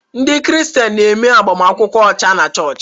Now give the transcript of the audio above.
Ndị Kraịstians na-eme agbamakwụkwọ ọcha na chọọchị.